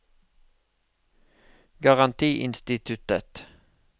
garantiinstituttet